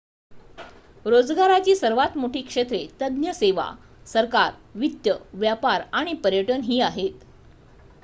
रोजगाराची सर्वात मोठी क्षेत्रे तज्ञ सेवा सरकार वित्त व्यापार आणि पर्यटन ही आहेत